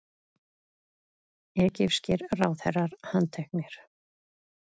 Egypskir ráðherrar handteknir